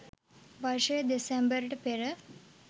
වර්ෂයේ දෙසැම්බර්ට පෙර